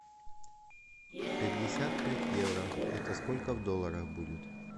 пятьдесят пять евро это сколько в долларах будет